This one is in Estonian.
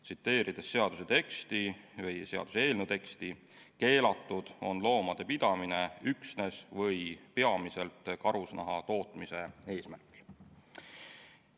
Tsiteerin seaduseelnõu teksti: keelatud on loomade pidamine üksnes või peamiselt karusnaha tootmise eesmärgil.